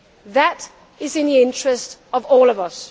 durable. That is in the interest of all